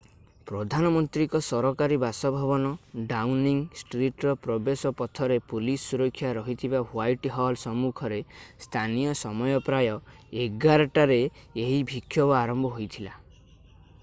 ପ୍ରଧାନମନ୍ତ୍ରୀଙ୍କ ସରକାରୀ ବାସଭବନ ଡାଉନିଂ ଷ୍ଟ୍ରିଟ୍‌ର ପ୍ରବେଶ ପଥରେ ପୋଲିସ୍ ସୁରକ୍ଷା ରହିଥିବା ହ୍ୱାଇଟ୍ ହଲ୍ ସମ୍ମୁଖରେ ସ୍ଥାନୀୟ ସମୟ ପ୍ରାୟ 11:00 utc+1ରେ ଏହି ବିକ୍ଷୋଭ ଆରମ୍ଭ ହୋଇଥିଲା।